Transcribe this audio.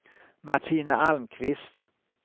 Martina Almqvist